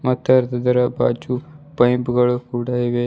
ಮತ್ತೆ ಇದರ ಬಾಜು ಪೖಂಪು ಗಳು ಕೂಡ ಇವೆ.